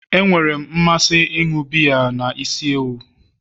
Enwere m mmasị n'ịṅụ biya na isi ewu